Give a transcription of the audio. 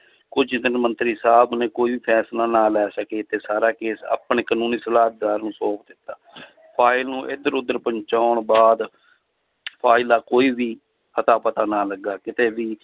ਕੁੱਝ ਦਿਨ ਮੰਤਰੀ ਸਾਹਬ ਨੇ ਕੋਈ ਵੀ ਫੈਸਲਾ ਨਾ ਲੈ ਸਕੇ ਤੇ ਸਾਰਾ ਕੇਸ ਆਪਣੇ ਕਾਨੂੰਨੀ ਸਾਲਾਹਦਾਰ ਨੂੰ ਸੌਂਪ ਦਿੱਤਾ ਫਾਇਲ ਨੂੰ ਇੱਧਰ ਉੱਧਰ ਪਹੁੰਚਾਉਣ ਬਾਅਦ ਫਾਇਲ ਦਾ ਕੋਈ ਵੀ ਅਤਾ ਪਤਾ ਨਾ ਲੱਗਾ ਕਿਤੇ ਵੀ